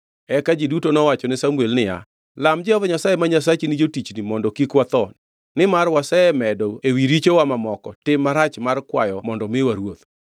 Eka ji duto nowachone Samuel niya, “Lam Jehova Nyasaye ma Nyasachi ni jotichni mondo kik watho, nimar wasemedo ewi richowa mamoko tim marach mar kwayo mondo miwa ruoth.”